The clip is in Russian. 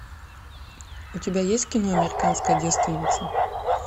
у тебя есть кино американская девственница